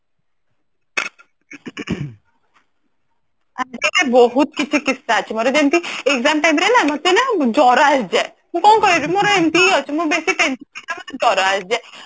ବହୁତ କିଛି କିସସା ଅଛି ଯେମିତି କି exam time ରେ ନା ମତେ ନା ଜର ଆସିଯାଏ ମୁଁ କଣ କହିବି ମୋର ଏମିତି ହିଁ ଅଛି ମୁଁ ବେଶୀ tension ରେ ମତେ ଜର ଆସିଯାଏ